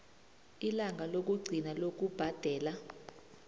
ilanga lokugcina lokubhadela